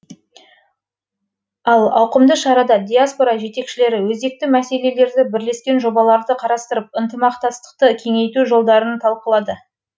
ал ауқымды шарада диаспора жетекшілері өзекті мәселелерді бірлескен жобаларды қарастырып ынтымақтастықты кеңейту жолдарын талқылады